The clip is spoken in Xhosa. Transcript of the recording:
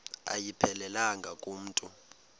ayiphelelanga ku mntu